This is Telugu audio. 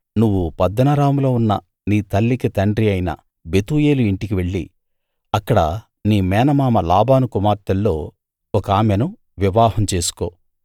నువ్వు పద్దనరాములో ఉన్న నీ తల్లికి తండ్రి అయిన బెతూయేలు ఇంటికి వెళ్ళి అక్కడ నీ మేనమామ లాబాను కుమార్తెల్లో ఒకామెను వివాహం చేసుకో